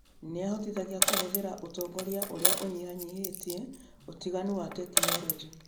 Nĩ ĩhotithagia kũhũthĩra ũtongoria ũrĩa ũnyihanyihĩtie ũtiganu wa tekinolonjĩ.